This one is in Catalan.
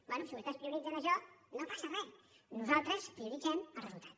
bé si vostès prioritzen això no passa re nosaltres prioritzem el resultat